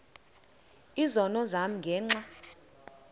izono zam ngenxa